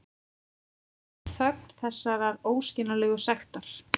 Þögn þessarar óskiljanlegu sektar.